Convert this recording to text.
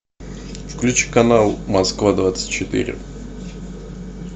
включи канал москва двадцать четыре